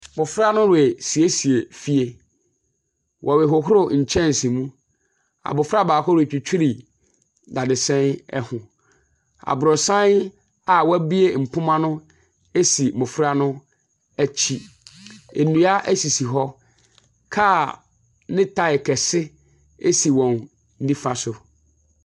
Mmɔfra no resiesie fie, wɔrehohoro nkyɛnse mu, abofra baako ritwitwi dadesɛn ho. Abrɔsan a wɔabue mpoma no si mmɔfra no akyi. Nnua sisi hɔ. Kaa ne taae kɛse si wɔn nifa so.